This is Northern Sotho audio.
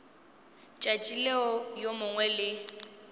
tšatši leo yo mongwe le